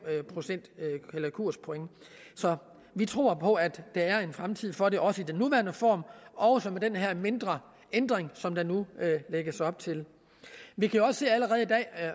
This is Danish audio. kurspoint så vi tror på at der er en fremtid for det også i den nuværende form og også med den her mindre ændring som der nu lægges op til vi kan også se